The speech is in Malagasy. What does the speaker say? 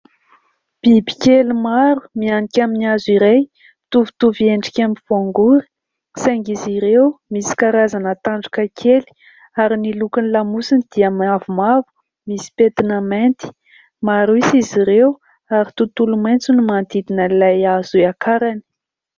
Bibikely maro mianika amin'ny hazo iray mitovitovy endrika amin'ny voangory saingy izy ireo misy karazana tandroka kely ary ny lokony lamosiny dia mavomavo misy pentina mainty. Maro isa izy ireo ary tontolo maintso ny manodidina an'ilay hazo hiakarany.